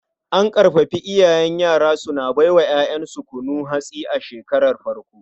An ƙarfafar iyaye suna bai wa 'ya'yansu kunun hatsi a shekarar farko.